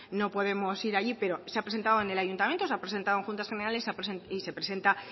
no podemos ir allí pero se ha presentado en el ayuntamiento se ha presentado en juntas generales y se presenta